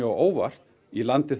á óvart í landi